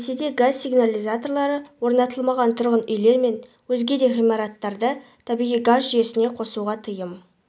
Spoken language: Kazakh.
ресейде газ сигнализаторлары орнатылмаған тұрғын үйлер мен өзге де ғимараттарды табиғи газ жүйесіне қосуға тыйым